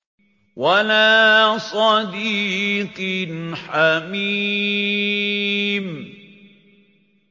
وَلَا صَدِيقٍ حَمِيمٍ